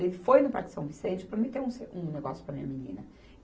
Ele foi no Parque São Vicente prometer um se, um negócio para a minha menina.